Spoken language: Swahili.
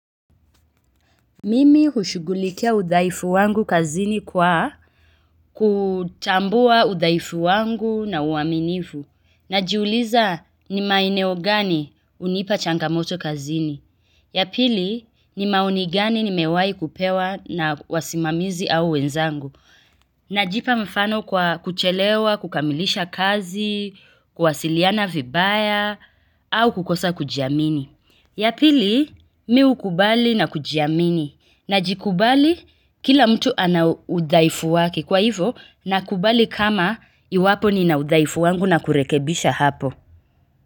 Mimi hushughulikia udhaifu wangu kazini kwa kutambua udhaifu wangu na uaminifu. Najiuliza ni maeneo gani hunipa changamoto kazini. Yapili ni maoni gani nimewahi kupewa na wasimamizi au wenzangu. Najipa mfano kwa kuchelewa, kukamilisha kazi, kuwasiliana vibaya, au kukosa kujiamini. Yapili mi hukubali na kujiamini. Najikubali kila mtu ana udhaifu wake kwa hivo nakubali kama iwapo ni na udhaifu wangu na kurekebisha hapo.